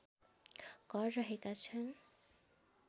घर रहेका छन्